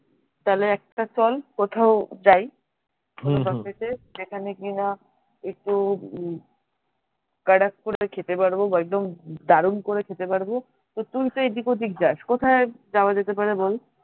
তাহলে একটা চল কোথাও যাই যেখানে কিনা একটু badass করে খেতে পারবো বা একদম দারুন করে খেতে পারবো তো তুই তো এদিক ওদিক যাস কোথায় যাওয়া যেতে পারে বল